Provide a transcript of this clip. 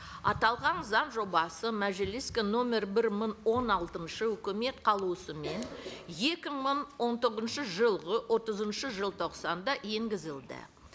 аталған заң жобасы мәжіліске нөмір бір мың он алтыншы үкімет қаулысымен екі мың он тоғызыншы жылғы отызыншы желтоқсанда енгізілді